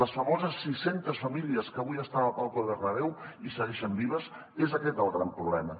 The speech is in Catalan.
les famoses sis centes famílies que avui estan a la llotja del bernabéu i segueixen vives és aquest el gran problema